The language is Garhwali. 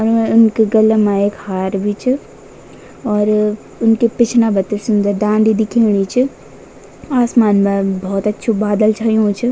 उनके गले मा एक हार भी च और उनके पिछने बीटे सुन्दर दांडी दिखेणी च आसमान मा बहौत अछू बादल छयुं च।